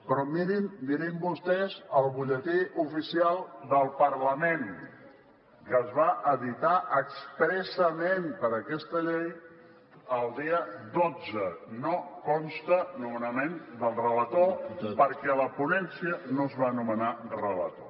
però mirin vostès el butlletí oficial del parlament que es va editar expressament per aquesta llei el dia dotze no consta nomenament del relator perquè a la ponència no es va nomenar relator